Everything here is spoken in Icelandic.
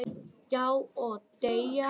"""Já, og deyja"""